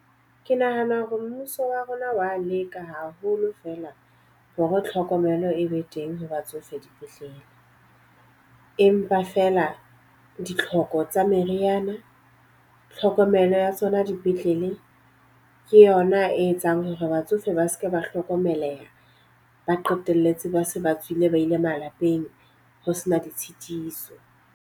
Ke nahana hore mmuso wa rona wa leka haholo fela hore tlhokomelo e be teng ha batsofe dipetlele. Empa feela ditlhoko tsa meriana, tlhokomelo ya tsona dipetlele ke yona e etsang hore batsofe ba seke ba hlokomeleha, ba qetelletse ba se ba tswile ba ile malapeng ho sena ditshitiso.